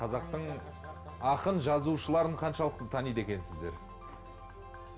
қазақтың ақын жазушыларын қаншалықты таниды екенсіздер